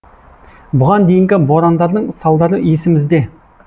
бұған дейінгі борандардың салдары есімізде